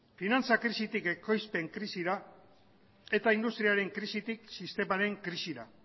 finantza krisitik ekoizpen krisira eta industriaren krisitik sistemaren krisira